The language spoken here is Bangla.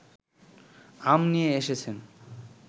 আম নিয়ে এসেছেন